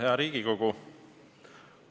Hea Riigikogu!